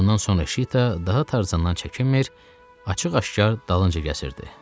Bundan sonra Şita daha Tarzandan çəkinmir, açıq-aşkar dalınca gəzirdi.